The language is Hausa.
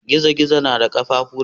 Gizo-gizo na da ƙafafu nawa?